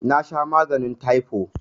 Nasha maganin taifo